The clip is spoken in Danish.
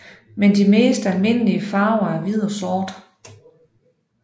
Men de mest almindelige farver er hvid og sort